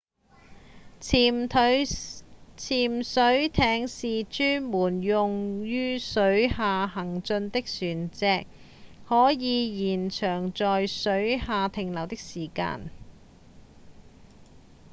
潛水艇是專門用於水下行進的船隻可以延長在水下停留的時間